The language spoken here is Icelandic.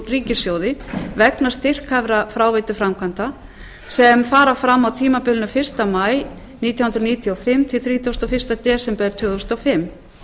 ríkissjóði vegna styrkhæfra fráveituframkvæmda sem fara fram á tímabilinu fyrsta maí nítján hundruð níutíu og fimm til þrítugasta og fyrsta desember tvö þúsund og fimm